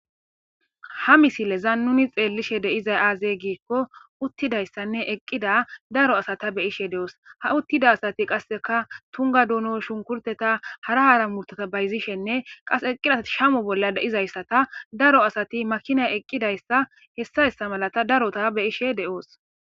ha misileza nuni xeellishe deizay aazey giikko uttidayssanne eqqida daro asata be ishe de7oos ha uttida asati qasseka tunga duuno shunkurteta hara hara murtota bayzishenne qas eqqida asati shamo bolla deizayssata daro asati makina eqqidayssa hessa hessa malata darota be ishe de7oos